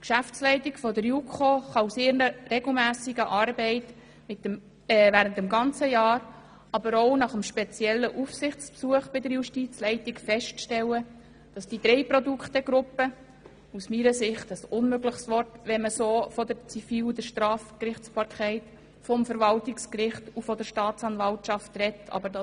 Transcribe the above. Die Geschäftsleitung der JuKo kann bei ihrer regelmässigen Arbeit während des ganzen Jahres, aber speziell auch nach dem Aufsichtsbesuch bei der Justizleitung feststellen, dass die drei Produktegruppen – aus meiner Sicht ein unmögliches Wort, wenn man von der Zivil- und Strafgerichtsbarkeit des Verwaltungsgerichts und der Staatsanwaltschaft spricht;